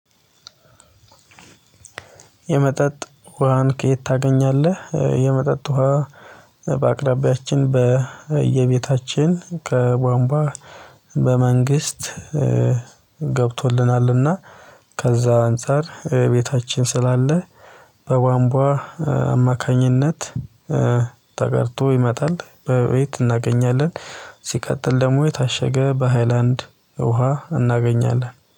የመጠጥ ውሃን ከየት ታገኛለህ? የመጠጥ ውሃ በአቅራቢያች በየቤታችን ከቧንቧ በመንግስት ገብቶልናልና ከዛ አንፃር ቤታችን ስላለ በቧንቧ አማካኝነት ተቀድቶ ይመጣል በቤት እናገኛለን። ሲቀጥል ደግሞ የታሸገ በሃይላንድ ውሃ እናገኛለን።